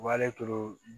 Wa ale to